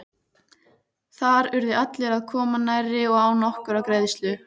Þar urðu allir að koma nærri og án nokkurrar greiðslu.